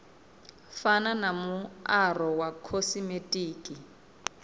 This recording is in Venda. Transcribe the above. fana na muaro wa khosimetiki